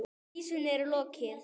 Vísunni er lokið.